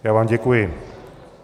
Já vám děkuji.